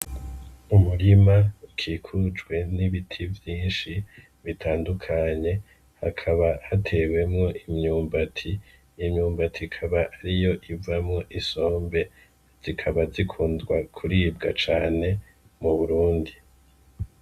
Umurima kikujwe n'ibiti vyinshi bitandukanye hakaba hatewemwo imyumbati imyumbati kaba ariyo ivamwo isombe zikaba zikunzwa kuribwa cane mu burundi.